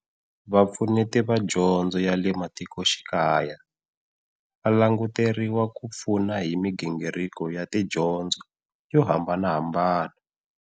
Vapfuneti va Dyondzo ya le Matikoxikaya va languteriwa ku pfuna hi migingiriko ya tidyondzo yo hambanahambana.